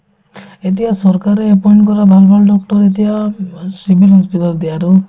এতিয়া চৰকাৰে appoint কৰা ভাল ভাল doctor ৰ এতিয়া অ civil hospital ত দিয়ে আৰু